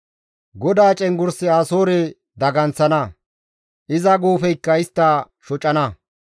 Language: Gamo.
GODAA cenggurssi Asoore daganththana; iza guufeykka istta shocana.